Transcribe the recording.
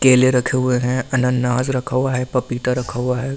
केले रखे हुए हैं अनानास रखा हुआ है पपीता रखा हुआ है एक--